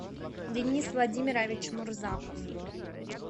денис владимирович мурзаков